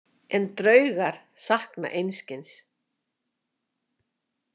En draugar sakna einskis.